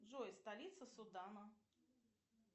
джой столица судана